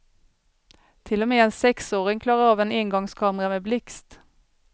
Till och med en sexåring klarar av en engångskamera med blixt.